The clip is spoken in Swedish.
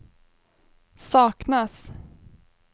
saknas